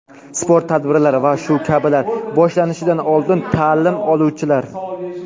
sport tadbirlari va shu kabilar) boshlanishidan oldin ta’lim oluvchilar:.